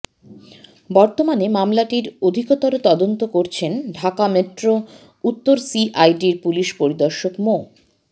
বর্তমানে মামলাটির অধিকতর তদন্ত করছেন ঢাকা মেট্রো উত্তর সিআইডির পুলিশ পরিদর্শক মো